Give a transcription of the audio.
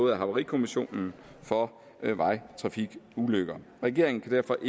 af havarikommissionen for vejtrafikulykker regeringen kan derfor